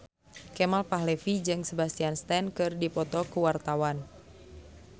Kemal Palevi jeung Sebastian Stan keur dipoto ku wartawan